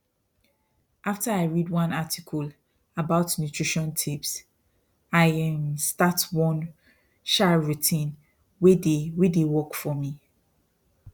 after i read one article about nutrition tips i um start one um routine wey dey wey dey work for me